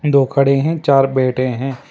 दो खड़े हैं चार बैठे हैं।